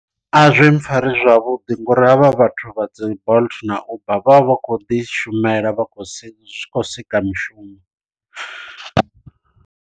A zwi mpfhari zwavhuḓi ngori havha vhathu vha dzi bolt na uber vha vha vha khou ḓi shumela vha khou sia zwi khou sika mishumo.